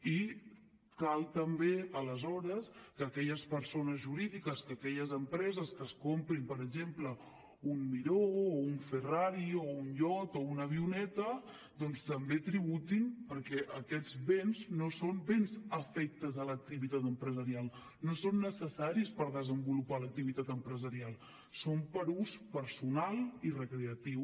i cal també aleshores que aquelles persones jurídiques que aquelles empreses que es comprin per exemple un miró o un ferrari o un iot o una avioneta doncs també tributin perquè aquests béns no són béns afectes a l’activitat empresarial no són necessaris per desenvolupar l’activitat empresarial són per a ús personal i recreatiu